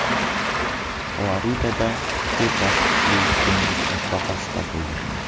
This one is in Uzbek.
Floridada ikki boshli dengiz toshbaqasi topildi.